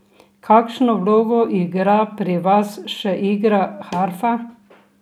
Kakšno vlogo igra pri vas še igra harfa?